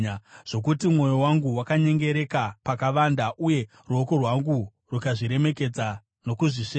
zvokuti mwoyo wangu wakanyengereka pakavanda, uye ruoko rwangu rukazviremekedza nokuzvisveta,